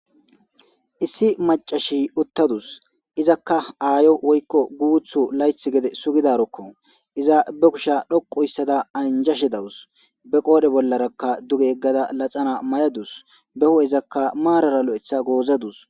Issi macasiya uthadus izaka aayo woyko guutho laythi gede sugidaroko iza ba kushe pude loqu histada anjashe de'awusu be qool'e bollaraka duge yegada naxala mayadus be huu'ezaka maarara loytha goozadus.